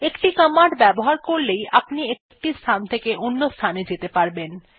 একটি কমান্ড ব্যবহার করলেই আপনি একটি স্থান থেকে অন্যান্য স্থানে যেতে পারবেন